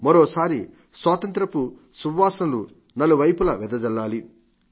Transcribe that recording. మరోసారి స్వాతంత్ర్యపు సువాసనలు నలువైపులా వెదజల్లాలి